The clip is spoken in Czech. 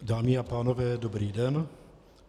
Dámy a pánové, dobrý den.